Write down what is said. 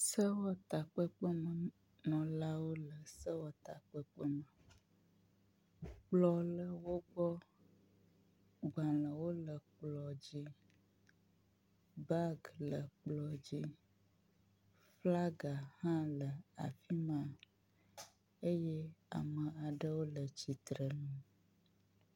Sewɔtakpekpemenɔlawo le sewɔtakpekpe me. Kplɔ le wogbɔ, gbalẽwo le kplɔ dzi, bagi le kplɔ dzi, flagi hã le afi ma eye ame aɖewo le tsitre ŋu